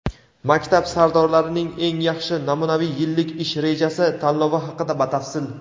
"Maktab sardorlarining eng yaxshi namunaviy yillik ish rejasi" tanlovi haqida batafsil.